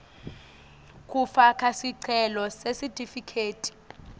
kufaka sicelo sesitifiketi